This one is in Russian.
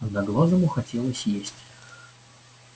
одноглазому хотелось есть